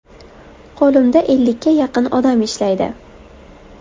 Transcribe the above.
Qo‘limda ellikka yaqin odam ishlaydi.